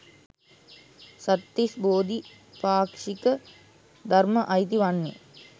සත්තිස් බෝධි පාක්ෂික ධර්ම අයිති වන්නේ.